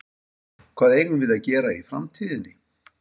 Hvað eigum við að gera í framtíðinni?